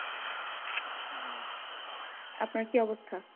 আপনার কি অবস্থা?